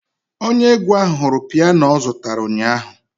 Onye egwu ahụ hụrụ piano ọ zụtara ụnyaahụ.